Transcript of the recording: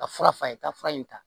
Ka fura f'a ye ka fura in ta